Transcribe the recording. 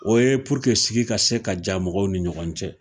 O ye sigi ka se ka ja mɔgɔw ni ɲɔgɔn cɛ